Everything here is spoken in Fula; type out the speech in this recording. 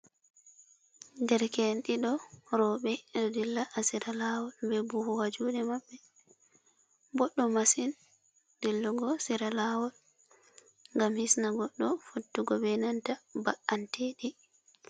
Derke'en ɗiɗo rooɓe, ɓe ɗo dilla ha sera laawol be buhu ha juuɗe maɓɓe. Boɗɗum masin dillugo sera laawol ngam hisna goɗɗo fottugo be nanta ba’anteɗi.